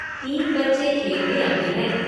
तीन बच्चे खेल में अभी हैं।